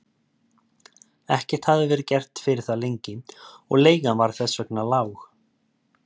Ekkert hafði verið gert fyrir það lengi og leigan var þess vegna lág.